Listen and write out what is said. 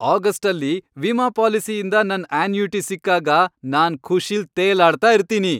ಆಗಸ್ಟಲ್ಲಿ ವಿಮಾ ಪಾಲಿಸಿಯಿಂದ ನನ್ ಅನ್ಯೂಇಟಿ ಸಿಕ್ಕಾಗ ನಾನ್ ಖುಷಿಲ್ ತೇಲಾಡ್ತಾ ಇರ್ತೀನಿ.